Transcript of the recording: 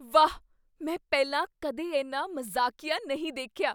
ਵਾਹ! ਮੈਂ ਪਹਿਲਾਂ ਕਦੇ ਇੰਨਾ ਮਜ਼ਾਕੀਆ ਨਹੀਂ ਦੇਖਿਆ!